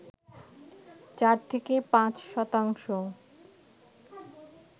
চার থেকে পাঁচ শতাংশ